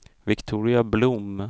Viktoria Blom